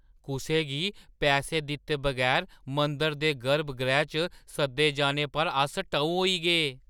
कुसै गी पैसे दित्ते बगैर मंदरै दे गर्भगृह च सद्दे जाने पर अस टऊ होई गे।